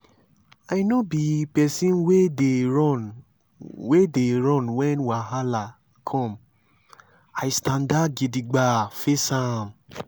i nor be pesin wey dey run wey dey run wen wahala come i standa gidigba face am.